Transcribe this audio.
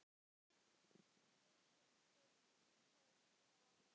Knúsaðu mömmu og alla hina.